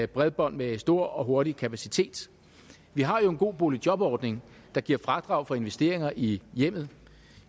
bredbånd med stor og hurtig kapacitet vi har jo en god boligjobordning der giver fradrag for investeringer i hjemmet